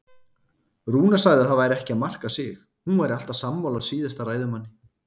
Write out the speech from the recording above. Rúna sagði að það væri ekki að marka sig, hún væri alltaf sammála síðasta ræðumanni.